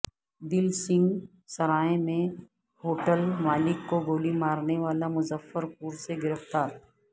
دلسنگھ سرائے میں ہوٹل مالک کو گولی مارنے والا مظفر پور سےگرفتار